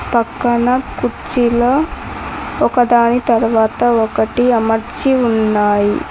పక్కన కుర్చీలో ఒకదాని తర్వాత ఒకటి అమర్చి ఉన్నాయి.